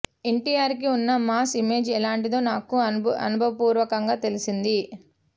ఎన్టీఆర్ కి ఉన్న mass image ఎలాంటిదో నాకు అనుభవపూర్వకంగా తెలిసింది